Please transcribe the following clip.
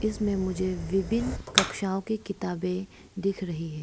इसमें मुझे विभिन्न कक्षाओं की किताबें दिख रही है।